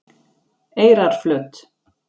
Eyrarflöt